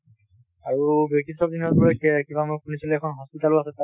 আৰু ব্ৰিটিছৰ দিনৰ বোলে ক কিবা মই শুনিছিলো hospital ও আছে তাত